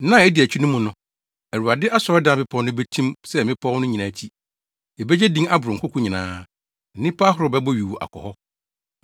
Nna a edi akyi no mu no, Awurade asɔredan bepɔw no betim sɛ mmepɔw no nyinaa ti; ebegye din aboro nkoko nyinaa, na nnipa ahorow bɛbɔ yuu akɔ hɔ.